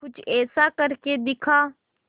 कुछ ऐसा करके दिखा